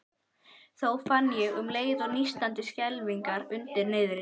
Þó fann ég um leið til nístandi skelfingar undir niðri.